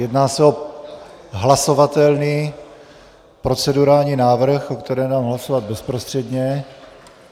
Jedná se o hlasovatelný procedurální návrh, o kterém dám hlasovat bezprostředně.